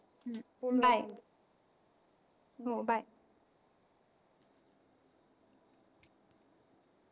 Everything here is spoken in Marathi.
हम्म हो bye हो bye